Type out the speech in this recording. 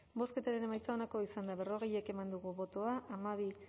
bozketaren emaitza onako izan da berrogei eman dugu bozka hamabi